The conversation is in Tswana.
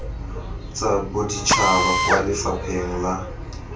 tsa boditšhaba kwa lefapheng la